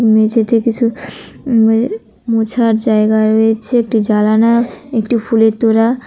মেঝেতে কিছু উম মুছার জায়গা রয়েছে একটি জালানা একটি ফুলের তোড়া--